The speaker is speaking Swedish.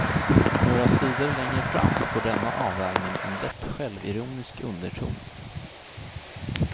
Några sidor längre fram får denna avvägning en lätt självironisk underton.